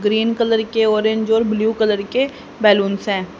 Green colour के orange और blue colour के बलूंस हैं।